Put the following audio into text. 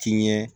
Tiɲɛ